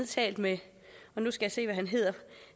talt med